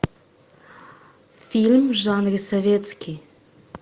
фильм в жанре советский